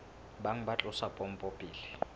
bang ba tlosa pompo pele